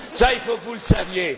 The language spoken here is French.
Il faut que vous le sachiez.